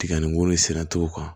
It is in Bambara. Tigɛni ko ni sera to kan